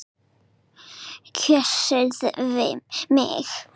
Kjósið mig!